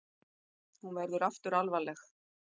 Hún verður aftur alvarleg.